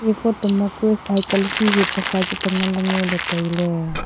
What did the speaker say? e photo ma kue cycle hihi pasa tengan ley ngoley tailey.